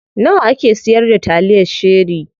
Nawa ake siyar da taliyar cherie?